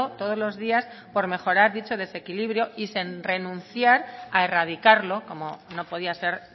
todos los días por mejorar dicho desequilibrio y sin renunciar a erradicarlo como no podía ser